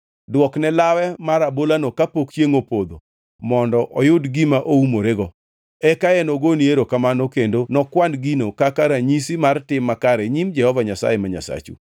Dwokne lawe mar abolano kapok chiengʼ opodho mondo oyud gima oumorego. Eka enogoni erokamano kendo nokwan gino kaka ranyisi mar tim makare e nyim Jehova Nyasaye ma Nyasachu.